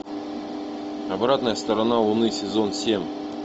обратная сторона луны сезон семь